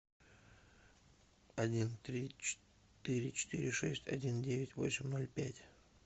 один три четыре четыре шесть один девять восемь ноль пять